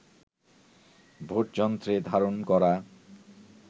ভোটযন্ত্রে ধারণ করা